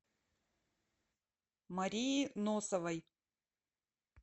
марии носовой